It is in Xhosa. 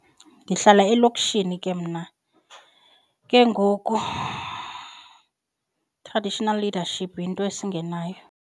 Ndihlala elokishini ke mna, ke ngoku traditional leadership yinto esingenayo.